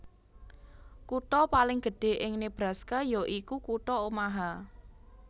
Kutha paling gedhé ing Nebraska ya iku kutha Omaha